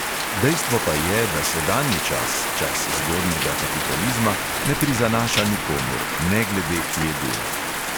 Dejstvo pa je, da sedanji čas, čas zgodnjega kapitalizma, ne prizanaša nikomur, ne glede, kje dela.